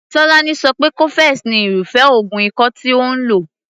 Tolani so pé cofex ni irúfé oògùn ikọ́ tí òun lò.